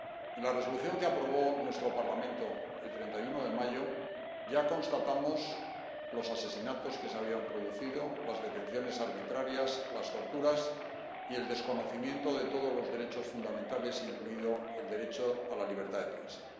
En la Resolución que aprobó nuestro Parlamento el 31 de mayo ya constatamos los asesinatos que se habían producido, las detenciones arbitrarias, las torturas y el desconocimiento de todos los derechos fundamentales, incluido el derecho a la libertad de prensa.